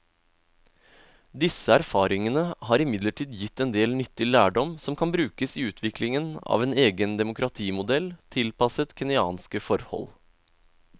Disse erfaringene har imidlertid gitt en del nyttig lærdom som kan brukes i utviklingen av en egen demokratimodell tilpasset kenyanske forhold.